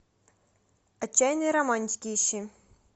отчаянные романтики ищи